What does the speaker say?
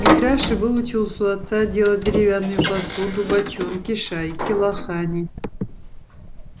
митраша выучился у отца делать деревянную посуду бочонки шайки лохани